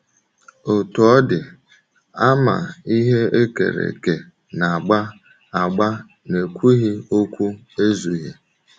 Otú ọ dị, àmà ihe e kere eke na - agba - agba n’ekwughị okwu ezughị.